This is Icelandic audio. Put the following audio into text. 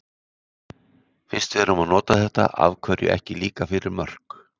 Fyrst við erum að nota þetta, af hverju ekki líka fyrir mörk?